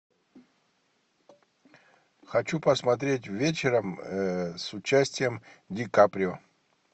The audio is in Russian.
хочу посмотреть вечером с участием ди каприо